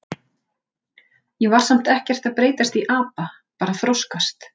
Ég var samt ekkert að breytast í apa, bara að þroskast.